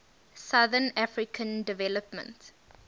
southern african development